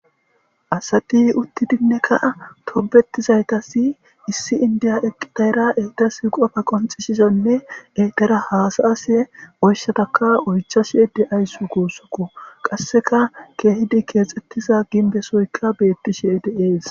Asati uttidinnekka tobetizaytasi issi indiya eqidayra etas qofa qonxishizanne etera haasaase oyshataka oychashe de'ayssu kuussukku qasseka keehidi keexxettiza ginbesoyka beettishe deees